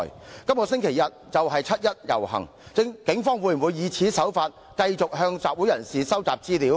七一遊行將在這個星期日舉行，警方會否以同樣手法繼續向集會人士收集資料？